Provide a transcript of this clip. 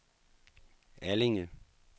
Allinge